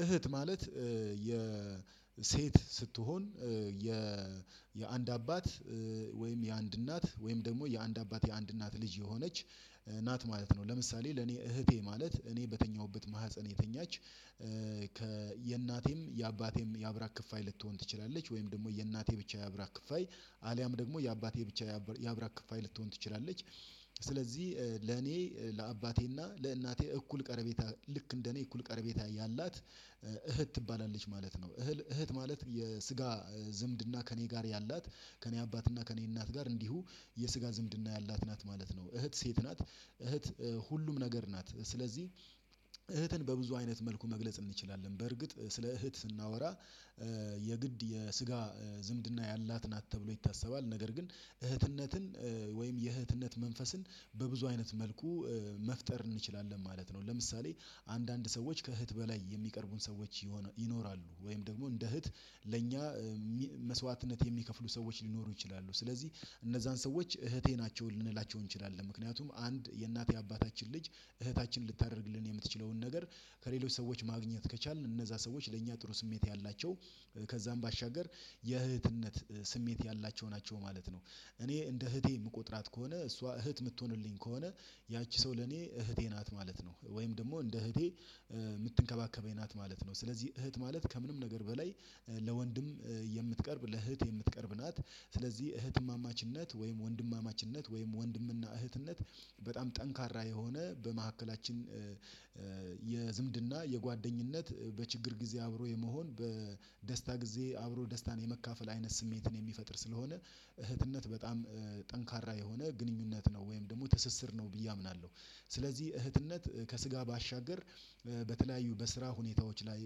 እህት ማለት የሴት ስትሆን የአንድ አባት ወይም የአንድ እናት ወይም ደግሞ የአንድ አባቴ አንድ እናት ልጅ የሆነች ናት ማለት ነው። ለምሳሌ ለኔ እህቴ ማለት እኔ በተኛሁበት ማህፀን የተኛች የእናቴም የአባቴም የአብራክ ክፍያ ልትሆን ትችላለች ወይም ደግሞ የእናቴ ብቻ የአብራክ ክፍያ አሊያም ደግሞ የአባቴ ብቻ ያብራክፋይ ልትሆን ትችላለች። ስለዚህ ለኔ ለአባቴና ለእናቴ እኩል ቀርቤታ ልክ እንደኔ እኩል ቀረቤታ ያላት እህት ትባላለች ማለት ነው። እህት ማለት የስጋ ዝምድና ከእኔ ጋር ያላት ከእኔ አባትና ከእኔ እናት ጋር እንዲሁ የስጋ ዝምድና ያላት ናት ማለት ነው። እህት ሴት ናት እህት ሁሉም ነገር ናት ስለዚህ እህትን በብዙ አይነት መልኩ መግለጽ እንችላለን። በርግጥ ስለ እህት ስናወራ የግድ የስጋ ዝምድና ያላት ናት ተብሎ ይታሰባል ነገር ግን እህትነትን ወይም የእህትነት መንፈስን በብዙ አይነት መልኩ መፍጠር እንችላለን ማለት ነው። ለምሳሌ አንዳንድ ሰዎች ከእህት በላይ የሚቀርቡን ሰዎች ይኖራሉ ወይም ደግሞ እንደ እህት ለእኛ መስዋዕትነት የሚከፍሉ ሰዎች ሊኖሩ ይችላሉ። ስለዚህ እነዛን ሰዎች እህቴ ናቸው ልንላቸው እንችላለን። ምክንያቱም አንድ የእናቴ አባታችን ልጅ እህታችንን ልታደርግልን የምትችለውን ነገር ከሌሎች ሰዎች ማግኘት ከቻልን እነዛ ሰዎች ለእኛ ጥሩ ስሜት ያላቸው ከዛም ባሻገር የእህትነት ስሜት ያላቸው ናቸው ማለት ነው። እኔ እንደ እህቴ የምቆጥራት ከሆነ እሷ እህት የምትሆንልኝ ከሆነ ያቺ ሰው ለኔ እህቴ ናት ማለት ነው። ወይም ደግሞ እንደ እህቴ የምትንከባከበኝ ናት ማለት ነው። ስለዚህ እህት ማለት ከምንም ነገር በላይ ለወንድም የምትቀርብ ለእህት የምትቀርብ ናት። ስለዚህ እህትማማችነት ወይም ወንድማማችነት ወይም ወንድምና እህትነት በጣም ጠንካራ የሆነ በመካከላችን የዝምድና የጓደኝነት በችግር ጊዜ አብሮ የመሆን በደስታ ጊዜ አብሮ ደስታን የመካፈል አይነት ስሜትን የሚፈጥር ስለሆነ እህትነት በጣም የሆነ ግንኙነት ነው ወይም ደግሞ ትስስር ነው ብዬ አምናለሁ። ስለዚህ እህትነት ከስጋ ባሻገር በተለያዩ በስራ ሁኔታዎች ላይ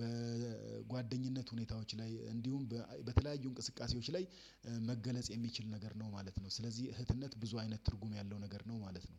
በጓደኝነት ሁኔታዎች ላይ እንዲሁም በተለያዩ እንቅስቃሴዎች ላይ መገለጽ የሚችል ነገር ነው ማለት ነው። ስለዚህ እህትነት ብዙ አይነት ትርጉም ያለው ነገር ነው ማለት ነው።